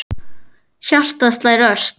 Hjartað slær ört.